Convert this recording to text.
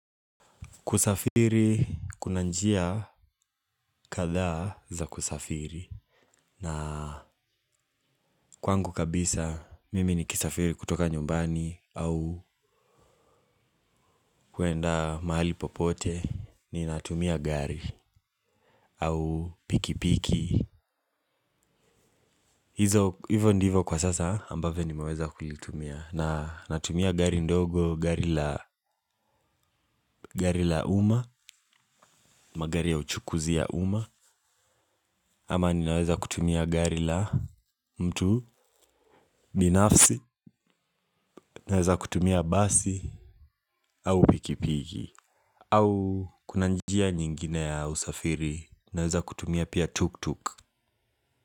Kusafiri kuna njia, kadhaa za kusafiri. Na kwangu kabisa, mimi nikisafiri kutoka nyumbani au kuenda mahali popote, ninatumia gari. Au piki piki. Hizo hivo ndivo kwa sasa, ambavyo nimeweza kulitumia. Na, natumia gari ndogo gari la gari la uma. Magari ya uchukuzi ya uma. Ama ninaweza kutumia gari la mtu, binafsi. Naweza kutumia basi au pikipiki. Au, kuna njia nyingine ya usafiri naweza kutumia pia tuk-tuk.